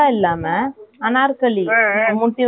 அப்போ இன்னும் கொஞ்சம் குண்டா தெரியும் இல்லையா அதுனால.